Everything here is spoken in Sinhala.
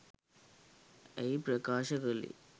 ඇය ප්‍රකාශ කළේ.